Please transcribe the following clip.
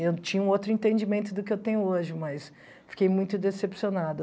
Eu tinha um outro entendimento do que eu tenho hoje, mas fiquei muito decepcionada.